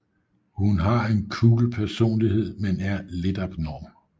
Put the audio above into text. Hun har en cool personlighed men er lidt abnorm